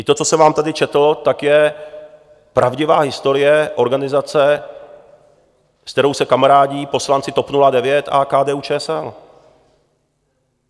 I to, co jsem vám tady četl, tak je pravdivá historie organizace, se kterou se kamarádí poslanci TOP 09 a KDU-ČSL.